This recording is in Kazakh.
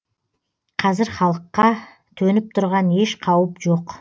қазір халыққа төніп тұрған еш қауіп жоқ